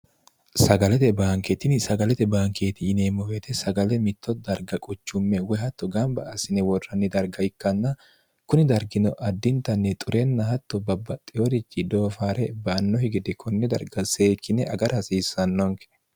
sagalete baankeetini sagalete baankeeti yineemmo beete sagale mitto darga quchumme woy hatto gamba asine worranni darga ikkanna kuni dargino addintanni xurenna hatto babbaxxiwoorichi doofaare ba annohi gede konni darga seekine agara hasiissannonke